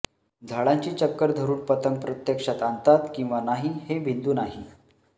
झाडांची चक्कर धरून पतंग प्रत्यक्षात आणतात किंवा नाही हे बिंदू नाही